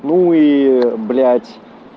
ну и б